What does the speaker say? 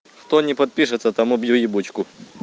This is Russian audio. кто не подпишется тому бью ебучку